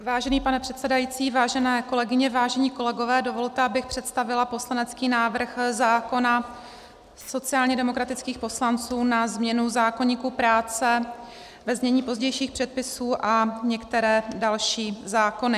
Vážený pane předsedající, vážené kolegyně, vážení kolegové, dovolte, abych představila poslanecký návrh zákona sociálně demokratických poslanců na změnu zákoníku práce ve znění pozdějších předpisů a některé další zákony.